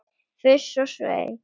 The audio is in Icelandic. Fuss og svei!